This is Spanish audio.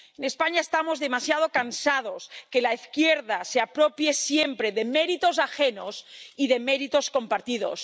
En España estamos demasiado cansados de que la izquierda se apropie siempre de méritos ajenos y de méritos compartidos.